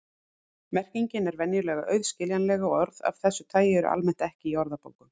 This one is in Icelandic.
Merkingin er venjulega auðskiljanleg og orð af þessu tagi eru almennt ekki í orðabókum.